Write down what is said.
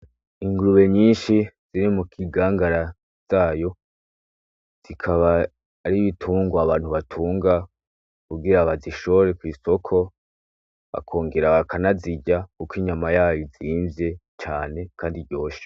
Ingurube nyinshi ziri mukigangara zayo, zikaba ar'ibitungwa Abantu batunga kugira bazishore kw'isoko bakongera bakanazirya kuko inyama yayo izimvye cane Kand' iryoshe.